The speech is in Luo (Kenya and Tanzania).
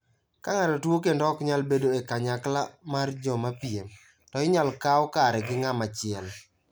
Ka ng'ato tuo kendo ok nyal bedo e kanyakla mar jo mapiem, to inyalo kaw kare gi ng'ama chielo.